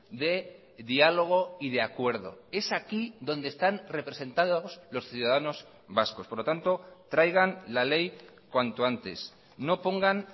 de diálogo y de acuerdo es aquí donde están representados los ciudadanos vascos por lo tanto traigan la ley cuanto antes no pongan